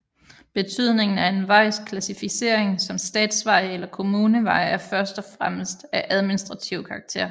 Betydningen for en vejs klassificering som statsvej eller kommunevej er først og fremmest af administrativ karakter